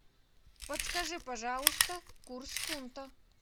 подскажи пожалуйста курс фунта